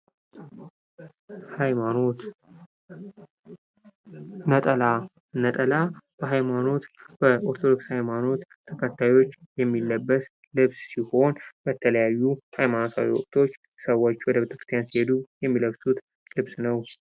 ሐይማኖት ነጠላ:-ነጠላ በሐይማኖት በኦርቶዶክስ ሐይማኖት አካባቢዎች የሚለበስ ልብስ ሲሆን በተለያዩ ሐይማኖታዊ ወቅቶች ሰዎች ወደ ቤተ-ክርስቲያን ሲሔዱ የሚለብሱት ልብስ ነው።